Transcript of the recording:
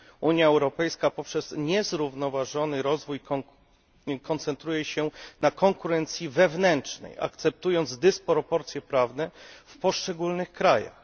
Unia Europejska, poprzez niezrównoważony rozwój, koncentruje się na konkurencji wewnętrznej, akceptując dysproporcje prawne w poszczególnych krajach.